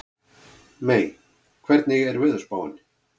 Mey, hvernig er veðurspáin?